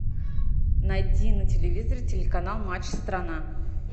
найди на телевизоре телеканал матч страна